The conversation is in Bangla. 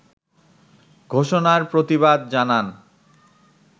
ঘোষণার প্রতিবাদ জানান